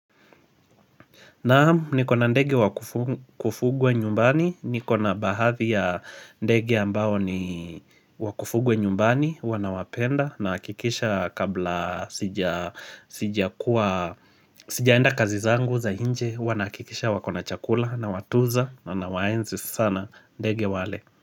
Naam, nikona ndege wakufugwa nyumbani, nikona baadhi ya ndege ambao ni wakufugwa nyumbani, huwa nawapenda nahakikisha kabla sija sijaenda kazi zangu za nje, huwa nahakikisha wako na chakula nawatunza na nawaenzi sana ndege wale.